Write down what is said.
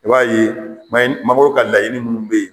I b'a ye may mqbɔw ka layiini ninnu bɛ yen